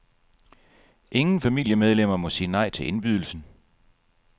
Ingen familiemedlemmer må sige nej til indbydelsen.